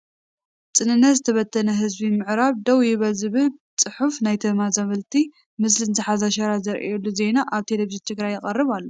ፅንተት ዝተበተነ ህዝቢ ምዕራብ ደው ይበል ዝብል ፅሑፍና ናይ ተመዛበልቲ ምስልን ዝሓዘ ሸራ ዝርአየሉ ዜና ኣብ ቴለቪዥ ትግራይ ይቐርብ ኣሎ፡፡